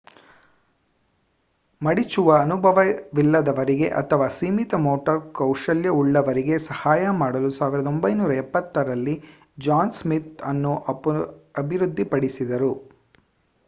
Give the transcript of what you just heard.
ಮಡಿಚುವ ಅನುಭವವಿಲ್ಲದವರಿಗೆ ಅಥವಾ ಸೀಮಿತ ಮೋಟಾರ್ ಕೌಶಲ್ಯ ಉಳ್ಳವರಿಗೆ ಸಹಾಯ ಮಾಡಲು 1970ರಲ್ಲಿ ಜಾನ್ ಸ್ಮಿತ್ ಇದನ್ನು ಅಭಿವೃದ್ಧಿಪಡಿಸಿದರು